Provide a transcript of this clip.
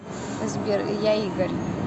сбер я игорь